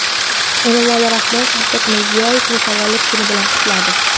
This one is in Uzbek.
Emomali Rahmon Shavkat Mirziyoyevni tavallud kuni bilan qutladi.